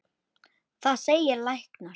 Það segja læknar.